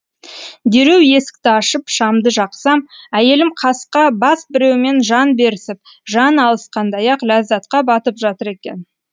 дереу есікті ашып шамды жақсам әйелім қасқа бас біреумен жан берісіп жан алысқандай ақ ләззатқа батып жатыр екен